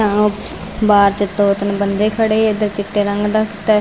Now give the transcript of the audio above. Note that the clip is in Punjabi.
ਆ ਬਾਰ ਵਿੱਚ ਦੋ ਤਿੰਨ ਬੰਦੇ ਖੜ੍ਹੇ ਇੱਧਰ ਚਿੱਟੇ ਰੰਗ ਦਾ ਕੁੱਤਾ --